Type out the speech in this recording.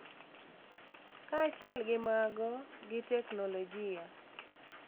Kaachiel gi mago, gi teknolojia,